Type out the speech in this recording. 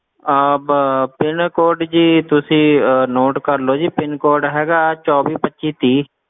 ਆਹ ਬ~ PIN code ਕੋ ਜੀ ਤੁਸੀ ਅਹ note ਕਰ ਲਓ ਜੀ PIN code ਹੈਗਾ ਚੋਵੀ ਪੱਚੀ ਤੀਹ